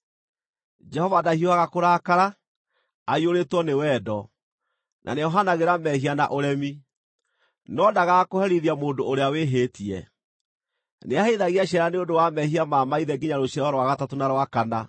‘Jehova ndahiũhaga kũrakara, aiyũrĩtwo nĩ wendo, na nĩohanagĩra mehia na ũremi. No ndaagaga kũherithia mũndũ ũrĩa wĩhĩtie; nĩaherithagia ciana nĩ ũndũ wa mehia ma maithe nginya rũciaro rwa gatatũ na rwa kana.’